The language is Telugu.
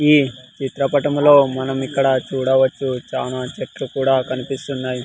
ఈ చిత్రపటంలో మనం ఇక్కడ చూడవచ్చు చానా చెట్లు కూడా కనిపిస్తున్నాయి.